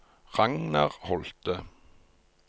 Ragnar Holte